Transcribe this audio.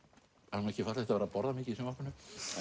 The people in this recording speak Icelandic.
það er nú ekki fallegt að vera að borða mikið í sjónvarpinu